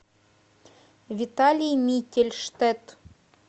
виталий миттельштет